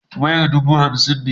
Wayar dubu hamsin ne.